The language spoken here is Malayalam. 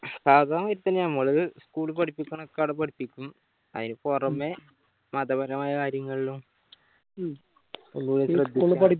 അതാണ് ഇപ്പൊ ഞമ്മള് school പഠിപ്പിക്കണൊക്കെ ആട പഠിപ്പിക്കും അയിന് പൊറമെ മതപരമായ കാര്യങ്ങളിലും